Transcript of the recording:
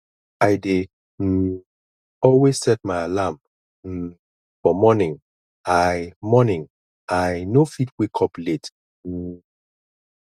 i dey um always set my alarm um for morning i morning i no fit wake up late um